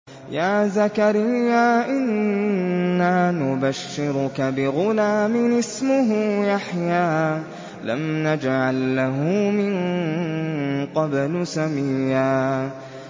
يَا زَكَرِيَّا إِنَّا نُبَشِّرُكَ بِغُلَامٍ اسْمُهُ يَحْيَىٰ لَمْ نَجْعَل لَّهُ مِن قَبْلُ سَمِيًّا